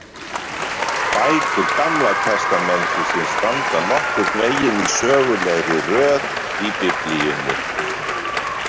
Bækur Gamla testamentisins standa nokkurn veginn í sögulegri röð í Biblíunni.